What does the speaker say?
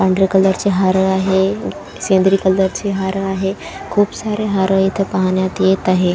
पांढऱ्या कलर चे हार आहे सेंद्रि कलर चे हार आहे खूप सारे हार इथ पाहण्यात येत आहेत.